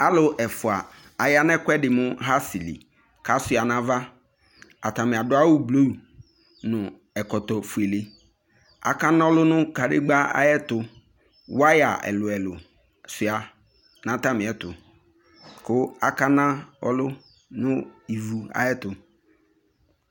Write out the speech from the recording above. Aalʋ ɛfʋa aya nʋ ɛkʋɛɖi mʋ hasili k'asiua n'ava Atani aɖʋ awu blue nʋ ɛkɔtɔ ofʋele, akanʋlʋ nʋ kaɖegba ayɛtʋWaya ɛlʋɛlʋ sɣua n'atamiɛtʋ kʋ akana ɔlʋ nʋ ivu ayɛtʋ